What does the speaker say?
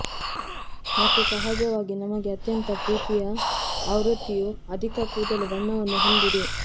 ಮತ್ತು ಸಹಜವಾಗಿ ನಮಗೆ ಅತ್ಯಂತ ಪ್ರೀತಿಯ ಆವೃತ್ತಿಯು ಅಧಿಕ ಕೂದಲು ಬಣ್ಣವನ್ನು ಹೊಂದಿದೆ